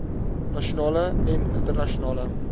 nasionale en internasionale